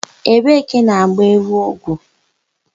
Ebee ka a na-gba ewu ọgwụ?